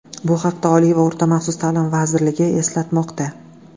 Bu haqda Oliy va o‘rta maxsus ta’lim vazirligi eslatmoqda .